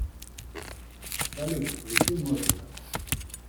салют включи нотика